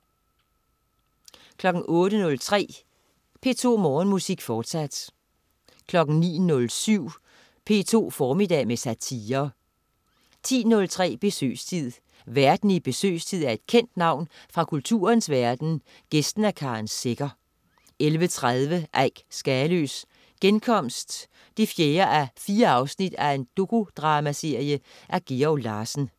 08.03 P2 Morgenmusik, fortsat 09.07 P2 formiddag med satire 10.03 Besøgstid. Værten i "Besøgstid" er et kendt navn fra kulturens verden, gæsten er Karen Secher 11.30 Eik Skaløes Genkomst 4:4. Dokudramaserie af Georg Larsen